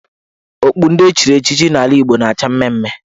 Okpu ndị echiri echichi n' ala Igbo na-acha mmee mmee.